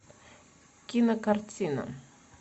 кинокартина